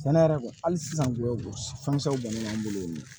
Sɛnɛ yɛrɛ kɔni hali sisan ko fɛnsɛw bɔnnen b'an bolo yen